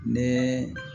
Ni